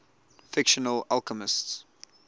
fictional alchemists